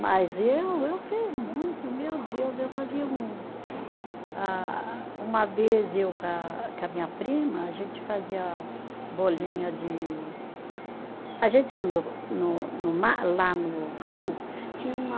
Mas eu, eu fiz muito, meu Deus, eu fazia um, ah, uma vez eu com a, com a minha prima, a gente fazia bolinha de, a gente ia no no no mar, lá no rio, tinha uma